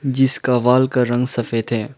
जिसका वॉल का रंग सफेद है।